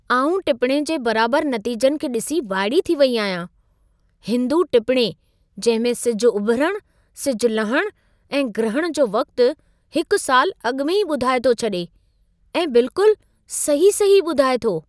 आउं टिपणे जे बराबर नतीजनि खे ॾिसी वाइड़ी थी वेई आहियां, हिंदू टिपणे जंहिं में सिज उभिरणु, सिज लहणु ऐं ग्रहण जो वक़्तु हिकु साल अॻु में ई ॿुधाए थो छडे॒ ऐं बिल्कुल सही-सही ॿुधाए थो।